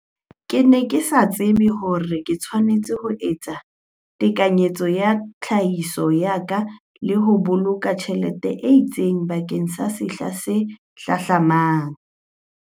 Ke ne ke sa tsebe hore ke tshwanetse ho etsa ditekanyetso tsa tlhahiso ya ka le ho boloka tjhelete e itseng bakeng sa sehla se hlahlamang.